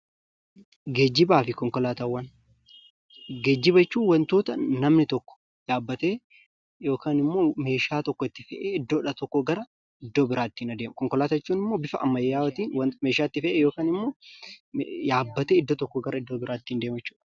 Geejjibaafi konkolaataawwan: geejjiba jechuun wantoota namni tokko yaabbatee yookanimmoo meeshaa tokko itti fe'ee iddoodhaa tokkoo gara iddoo biraatti ittiin adeemu. Konkolaataa jechuunimmoo bifa ammayyaa'ootiin meeshaa itti fe'ee yookanimmoo yaabbatee iddoo tokkoo gara iddoo biraatti.